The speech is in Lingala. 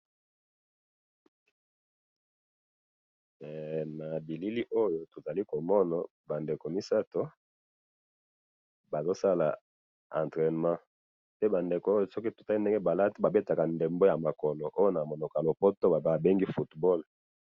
na bilili oyo tozali komona ba ndeko misato bazo sala entrainement, pe ba ndeko oyo, soki to tali ndenge balati, ba betaka ndembo oyo na monoko ya lopoto ba bengi football.